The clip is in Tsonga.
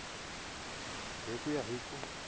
hi ku ya hi ku